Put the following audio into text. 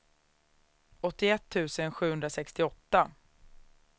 åttioett tusen sjuhundrasextioåtta